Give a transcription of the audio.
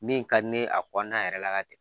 Min ka di ne ye a kɔɔna yɛrɛ la ka